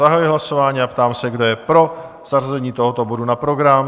Zahajuji hlasování a ptám se, kdo je pro zařazení tohoto bodu na program?